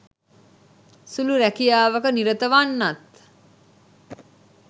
සුළු රැකියාවක නිරත වන්නන්